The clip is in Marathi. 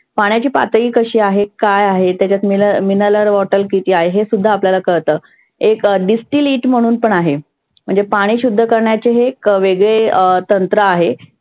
पाण्याची पातळी कशी आहे? काय आहे? त्याच्यात meniral water आहे हे सुद्धा आपल्याला कळतं. एक distilite म्हणून पण आहे. म्हणजे पाणि शुद्ध करण्याचे हे वेगळे तंत्र आहे.